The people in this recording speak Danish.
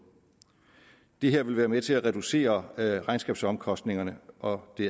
det her vil være med til at reducere regnskabsomkostningerne og det